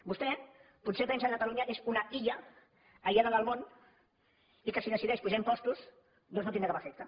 vostè potser es pensa que catalunya és una illa aïllada del món i que si decideix apujar impostos doncs no tindrà cap efecte